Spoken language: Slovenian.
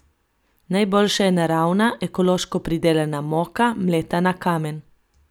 Najboljša je naravna, ekološko pridelana moka, mleta na kamen.